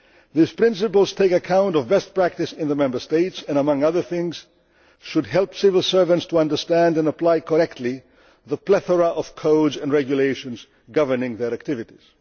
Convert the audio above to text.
These principles take account of best practice in the Member States and among other things should help civil servants to understand and apply correctly the plethora of codes and regulations governing their activities.